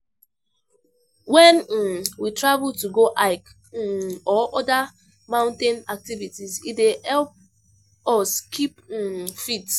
When um we travel to go hike[um] or oda mountain activites, e dey help us keep[um] fit